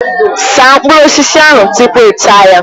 Saa mkpụrụ osisi ahụ tupu ịta ya!